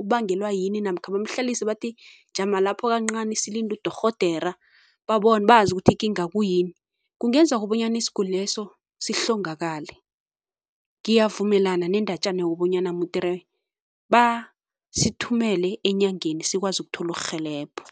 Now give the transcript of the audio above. ubangelwa yini namkha bamhlalise bathi jama lapho kancani silinde udorhodera bazi ukuthi ikinga kuyini, kungenzeka bonyana isiguli leso sihlongakale. ngiyavumelana sendatjana wokobonyana mudere basithumele enyangeni sikwazi ukuthola urhelebho.